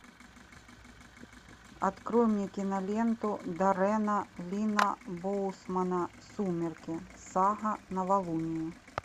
открой мне киноленту даррена линна боусмана сумерки сага новолуние